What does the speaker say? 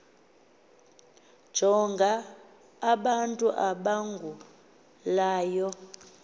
jonga abantu abagulayo